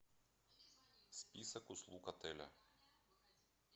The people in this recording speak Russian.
список услуг отеля